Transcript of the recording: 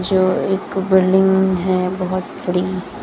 जो एक बिल्डिंग है बहुत बड़ी।